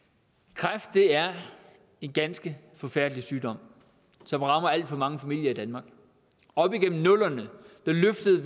kræft er en ganske forfærdelig sygdom som rammer alt for mange familier i danmark op igennem nullerne løftede